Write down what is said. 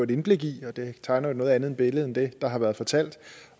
et indblik i det tegner jo et noget andet billede end det der har været fortalt